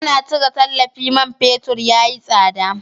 Ana cire tallafi man fetur ya yi tsada.